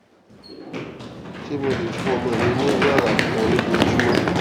ṣé mo lè fún ọmọ mi ní wàrà kan lójoojúmó